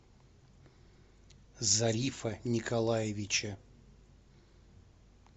зарифа николаевича